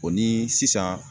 O ni sisan